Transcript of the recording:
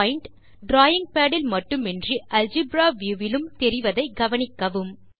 point drawing pad இல் மட்டுமின்றி algebra view விலும் தெரிவதைக் கவனிக்கவும்